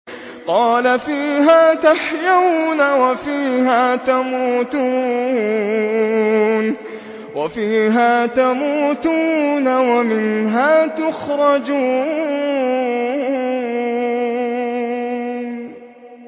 قَالَ فِيهَا تَحْيَوْنَ وَفِيهَا تَمُوتُونَ وَمِنْهَا تُخْرَجُونَ